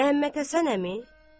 Məhəmməd Həsən əmi?